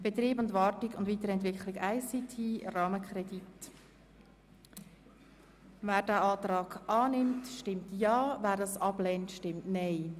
Wer den Kreditantrag annimmt, stimmt Ja, wer dies ablehnt, stimmt Nein.